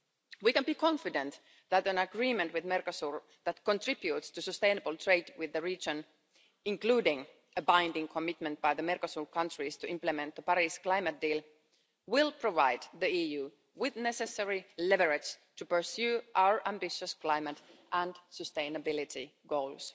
We can be confident that an agreement with Mercosur that contributes to sustainable trade with the region, including a binding commitment by the Mercosur countries to implement the Paris climate deal, will provide the EU with the necessary leverage to pursue our ambitious climate and sustainability goals.